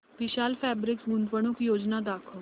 विशाल fabrics गुंतवणूक योजना दाखव